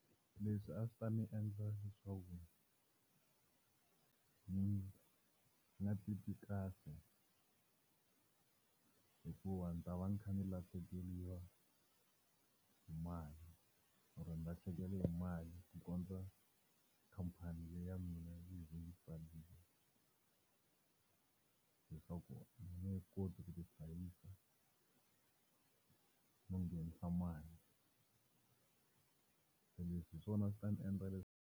Leswi a swi ta ni endla leswaku ni nga titwi kahle, hikuva ndzi ta va ni kha ni lahlekeriwa hi mali or ni lahlekeli hi mali, ku kondza khampani leya mina yi ndzi byela leswaku yi nge he koti ku nihlayisa no nghenisa mali. Se leswi hi swona swi ta ndzi endla leswi.